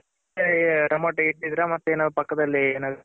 Tomato ಇಟ್ಟಿದಿರ ಮತ್ತೆ ಏನಾದ್ರು ಅದರ್ ಪಕ್ಕದಲ್ಲಿ ಏನಾದ್ರು.